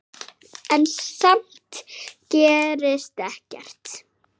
En samt gerðist ekkert.